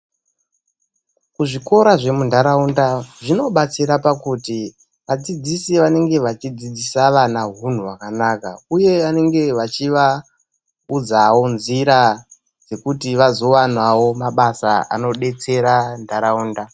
Zvikora zvemundaraunda zvinobatsira pakuti vadzidzisi vanenge vachidzidzisa vana unhu hwakanaka uye vanenge vachivaudzawo nzira dzekuti vanozowanawo mabasa anodetsera nharaunda